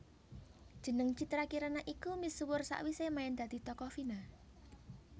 Jeneng Citra Kirana iku misuwur sawisé main dadi tokoh Vina